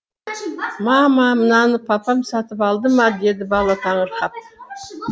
мама мынаны папам сатып алды ма деді бала таңырқап